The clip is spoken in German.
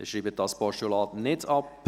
Abstimmung (2019.RRGR.78; Abschreibung)